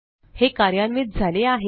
हे कार्यान्वित झाले आहे